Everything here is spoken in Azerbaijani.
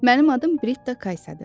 Mənim adım Britta Kaysadır.